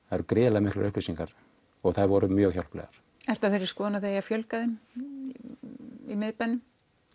það eru gríðarlega miklar upplýsingar og þær voru mjög hjálplegar ertu á þeirri skoðun að það eigi að fjölga þeim í miðbænum